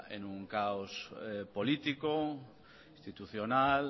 en un caos político institucional